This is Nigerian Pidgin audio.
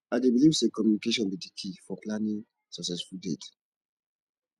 i dey believe say communication be di key for planning successful dates